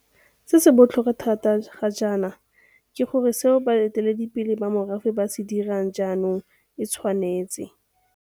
Se se botlhokwa thata ga jaana ke gore seo baeteledi pele ba merafe ba se dirang jaanong e tshwanetse.